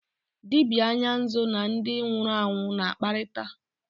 Dibịa anya nzu na ndị nwụrụ anwụ na-akparịta.